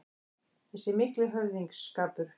Þessi mikli höfðingsskapur